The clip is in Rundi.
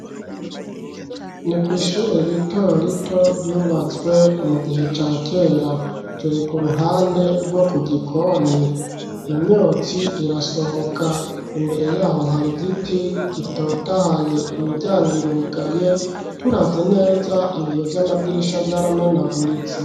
Ni kw'ishure rito rito, ryubatswe mu gihe ca kera; turi, ku ruhande rwo ku gikoni; imyotsi irasohoka, imbere y'aho, hari igiti, gitotahaye; imiryanga irugaye, turavye neza, ibiyo vy'amadirisha, vyaramenaguritse.